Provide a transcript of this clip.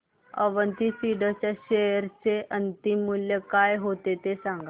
Avanti Feeds च्या share चे अंतिम मूल्य काय होते ते सांगा